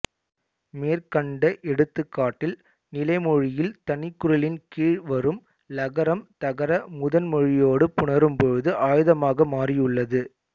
மேற்கண்ட எடுத்துக்காட்டில் நிலைமொழியில் தனிக்குறிலின் கீழ் வரும் ளகரம் தகர முதன் மொழியோடு புணரும் பொழுது ஆய்தமாக மாறியுள்ளது